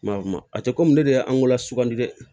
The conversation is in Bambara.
Ma a tɛ komi ne de y'an wolo sugandi dɛ